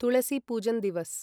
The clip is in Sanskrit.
तुलसी पूजन् दिवस्